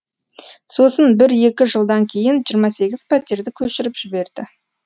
сосын бір екі жылдан кейін жиырма сегіз пәтерді көшіріп жіберді